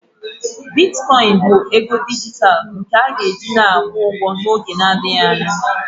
Bitkoịn bụ ego dijitalụ nke a ga-eji na-akwụ ụgwọ n'oge adịghị anya